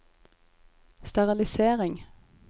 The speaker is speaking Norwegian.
sterilisering